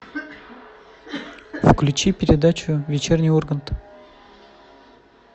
включи передачу вечерний ургант